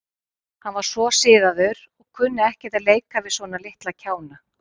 Hann var svo siðaður og kunni ekkert að leika við svona litla kjána.